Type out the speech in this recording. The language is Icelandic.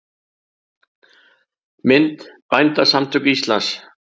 Mynd: Bændasamtök Íslands.